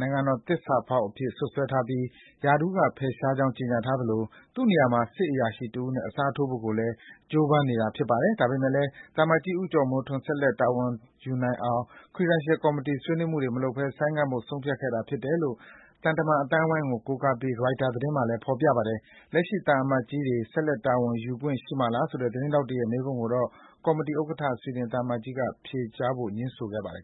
နိုင်ငံတော်သစ္စာဖောက်အဖြစ် စွပ်စွဲထားပြီး ရာထူးက ဖယ်ရှားကြောင်း ကြေညာထားသလို သူ့နေရာမှာ စစ်အရာရှိတဦးနဲ့ အစားထိုးဖို့လည်း ကြိုးပမ်းနေတာ ဖြစ်ပါတယ်။ ဒါပေမဲ့လည်း သံအမတ်ကြီး ဦးကျော်မိုးထွန်း ဆက်လက် တာဝန်ယူနိုင်အောင် Credentials Committee က ဆွေးနွေးမှုတွေမလုပ်ဘဲ ဆိုင်းငံ့ဖို့ ဆုံးဖြတ်ခဲ့တာဖြစ်တယ်လို့ သံတမန် အသိုင်းအဝန်းကို ကိုးကားပြီး ရိုက်တာသတင်းမှာလည်း ဖော်ပြထားပါတယ်။ လက်ရှိသံအမတ်ကြီးတွေ ဆက်လက် တာဝန်ယူခွင့်ရှိမှာလားဆိုတဲ့ သတင်းထောက်တွေရဲ့ မေးခွန်းကိုတော့ ကော်မတီဥက္ကဋ္ဌ ဆွီဒင်သံအမတ်ကြီးက ဖြေကြားဖို့ ငြင်းဆန်ခဲ့ပါတယ်